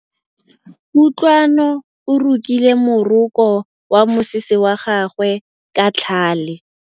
Kutlwanô o rokile morokô wa mosese wa gagwe ka tlhale.